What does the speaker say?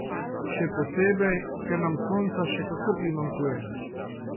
Še posebej, ker nam sonca še kako primanjkuje.